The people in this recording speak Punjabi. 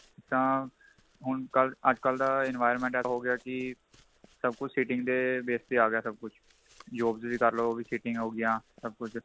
ਤਾਂ ਹੁਣ ਕੱਲ ਅੱਜਕਲ ਦਾ environment ਹੋ ਗਿਆ ਕੀ ਸਭ ਕੁੱਝ sitting ਦੇ base ਤੇ ਆ ਗਿਆ ਸਭ ਕੁੱਝ jobs ਵੀ ਕਰਲੋ ਉਹ ਵੀ sitting ਹੋ ਗਿਆ ਸਭ ਕੁੱਝ